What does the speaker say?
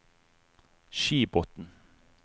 Skibotn